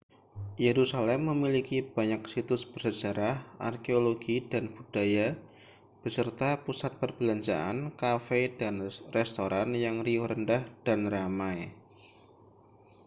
yerusalem memiliki banyak situs bersejarah arkeologi dan budaya beserta pusat perbelanjaan kafe dan restoran yang riuh rendah dan ramai